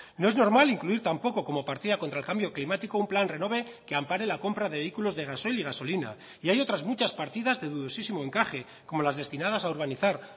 no es normal incluir tampoco como partida contra el cambio climático un plan renove que ampare la compra de vehículos de gasoil y gasolina y hay otras muchas partidas de dudosísimo encaje como las destinadas a organizar